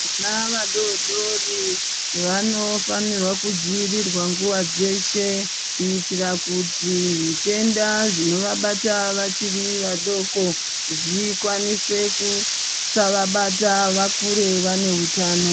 Vana vadodori vano fanirwa ku dzivirirwa nguva dzeshe kuitira kuti zvitenda zvino vabata vachiri va doko zvikwanise kusa vabata vakure vane utano.